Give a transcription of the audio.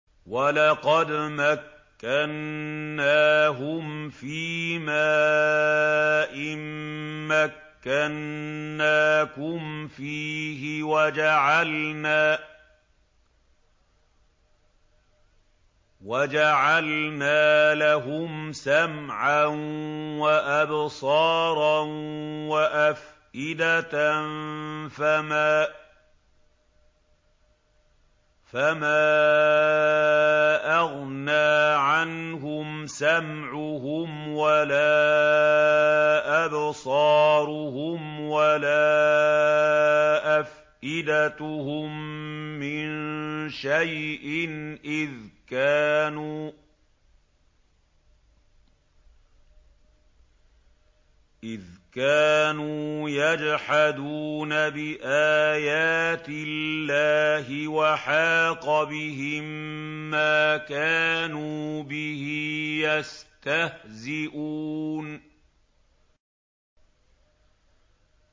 وَلَقَدْ مَكَّنَّاهُمْ فِيمَا إِن مَّكَّنَّاكُمْ فِيهِ وَجَعَلْنَا لَهُمْ سَمْعًا وَأَبْصَارًا وَأَفْئِدَةً فَمَا أَغْنَىٰ عَنْهُمْ سَمْعُهُمْ وَلَا أَبْصَارُهُمْ وَلَا أَفْئِدَتُهُم مِّن شَيْءٍ إِذْ كَانُوا يَجْحَدُونَ بِآيَاتِ اللَّهِ وَحَاقَ بِهِم مَّا كَانُوا بِهِ يَسْتَهْزِئُونَ